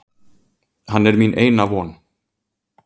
Hann er mín eina von.